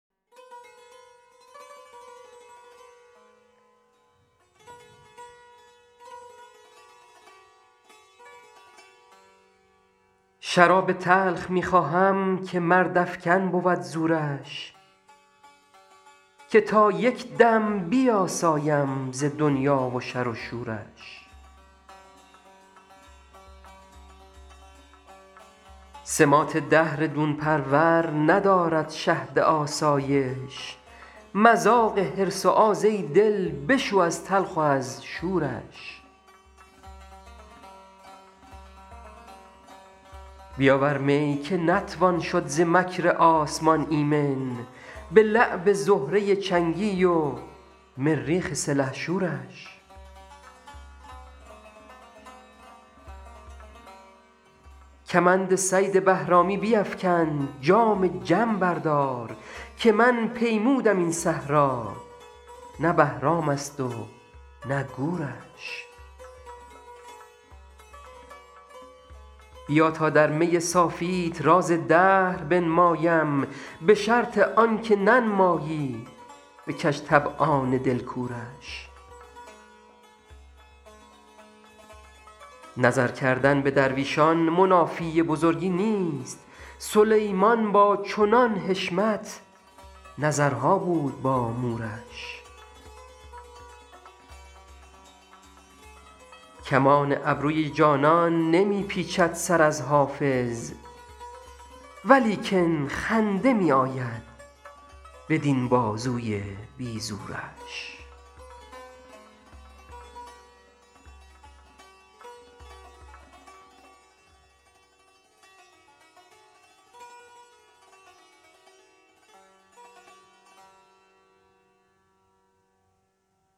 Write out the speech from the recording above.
شراب تلخ می خواهم که مردافکن بود زورش که تا یک دم بیاسایم ز دنیا و شر و شورش سماط دهر دون پرور ندارد شهد آسایش مذاق حرص و آز ای دل بشو از تلخ و از شورش بیاور می که نتوان شد ز مکر آسمان ایمن به لعب زهره چنگی و مریخ سلحشورش کمند صید بهرامی بیفکن جام جم بردار که من پیمودم این صحرا نه بهرام است و نه گورش بیا تا در می صافیت راز دهر بنمایم به شرط آن که ننمایی به کج طبعان دل کورش نظر کردن به درویشان منافی بزرگی نیست سلیمان با چنان حشمت نظرها بود با مورش کمان ابروی جانان نمی پیچد سر از حافظ ولیکن خنده می آید بدین بازوی بی زورش